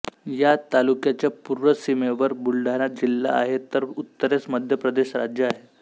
या तालुक्याच्या पूर्व सीमेवर बुलढाणा जिल्हा आहे तर उत्तरेस मध्य प्रदेश राज्य आहे